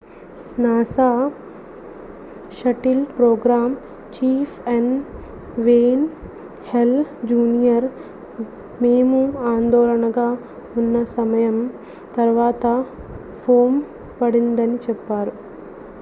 NASA shuttle programme chief N Wayne Hale junior మేము ఆందోళనగా ఉన్న సమయం తర్వాత ఫోమ్ పడిందని చెప్పారు